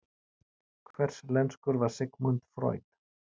Hverslenskur var Sigmund Freud?